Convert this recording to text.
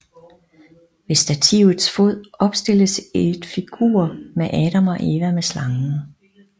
Ved stativets fod opstilles et figur med Adam og Eva med slangen